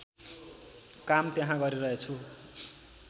काम त्यहाँ गरिरहेछु